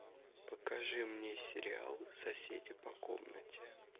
покажи мне сериал соседи по комнате